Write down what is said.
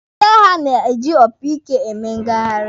Ndị agha na-eji opi ike eme ngagharị.